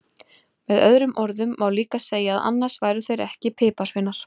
Með öðrum orðum má líka segja að annars væru þeir ekki piparsveinar!